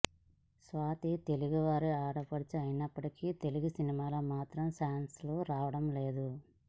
స్వాతి తెలుగు వారి ఆడపడుచు అయినప్పటికీ తెలుగు సినిమాలో మాత్రం ఛాన్స్ లు రావడం లేదు